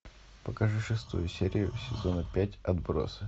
покажи шестую серию сезона пять отбросы